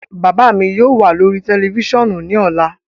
Baba mi yóò wa lori tẹlifisiọnu ni ọla